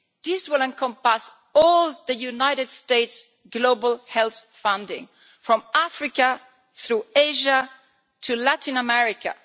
This will encompass all the United States' global health funding from Africa through Asia to Latin America.